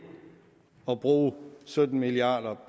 at bruge sytten milliard